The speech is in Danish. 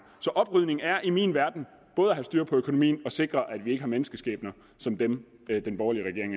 så oprydning er i min verden både at have styr på økonomien og sikre at vi har menneskeskæbner som dem den borgerlige regering